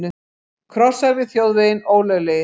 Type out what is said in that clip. Krossar við þjóðveginn ólöglegir